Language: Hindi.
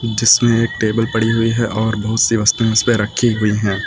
जिसमें एक टेबल पड़ी हुई है और बहुत सी वस्तुएं उसपे रखी हुई हैं।